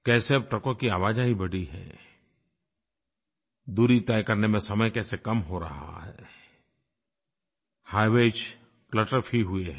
कैसे अब ट्रकों की आवाजाही बढ़ी है दूरी तय करने में समय कैसे कम हो रहा है हाइवेज क्लटर फ्री हुए हैं